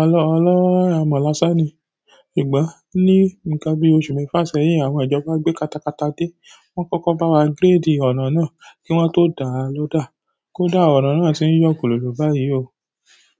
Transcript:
ọlọ́ọ́ramọ̀ lásán ni. Sugbà ní nkan bí oṣù mẹ́fa sẹ́yìn, àwọn ìjọba gbé katakata dé, wọ́n kọ́kọ́ bá wa gíríìdì ọ̀nà náà kí wọ́n tó dáa ló dà. Kódà ọ̀nà náà ti ń yọ̀kùlù báyìí o.